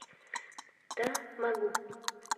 да могу